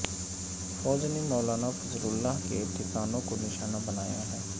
فوج نے مولانا فضل اللہ کے ٹھکانوں کو نشانہ بنایا ہے